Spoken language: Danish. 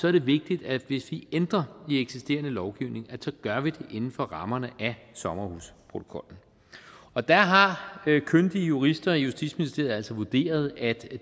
er det vigtigt at hvis vi ændrer i den eksisterende lovgivning gør vi det inden for rammerne af sommerhusprotokollen og der har kyndige jurister i justitsministeriet altså vurderet at